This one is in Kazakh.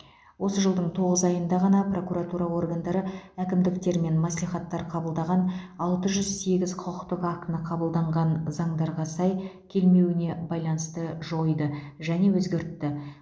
осы жылдың тоғыз айында ғана прокуратура органдары әкімдіктер мен мәслихаттар қабылдаған алты жүз сегіз құқықтық актіні қабылданған заңдарға сай келмеуіне байланысты жойды және өзгертті